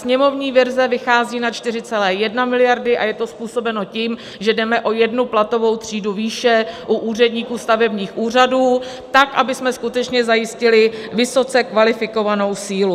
Sněmovní verze vychází na 4,1 miliardy a je to způsobeno tím, že jdeme o jednu platovou třídu výše u úředníků stavebních úřadů tak, abychom skutečně zajistili vysoce kvalifikovanou sílu.